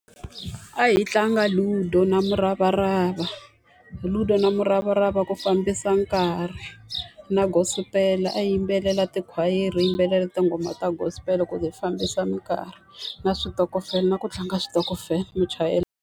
A hi tlanga Ludo na muravarava, Ludo na muravarava ku fambisa nkarhi. Na gospel-e, a hi yimbelela tikhwayere hi yimbelela tinghoma ta gospel-e ku hi fambisa minkarhi. Na switokofela na ku tlanga switokofela .